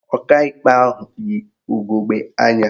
Ọkaikpe ahụ yi ugegbe anya